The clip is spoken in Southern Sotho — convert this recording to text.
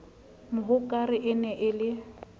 mohokare e ne e le